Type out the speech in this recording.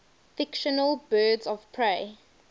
fictional birds of prey